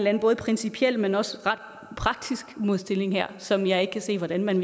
anden både principiel men også ret praktisk modsætning her som jeg ikke kan se hvordan man